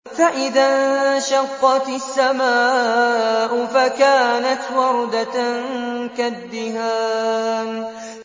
فَإِذَا انشَقَّتِ السَّمَاءُ فَكَانَتْ وَرْدَةً كَالدِّهَانِ